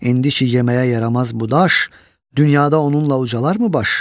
İndi ki yeməyə yaramaz bu daş, dünyada onunla ucalar mı baş?